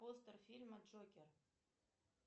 постер фильма джокер